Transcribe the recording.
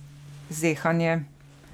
Zehanje.